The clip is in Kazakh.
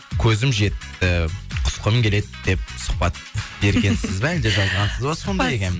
көзім жетті құсқым келеді деп сұхбат бергенсіз ба әлде жазғансыз ба сондай екен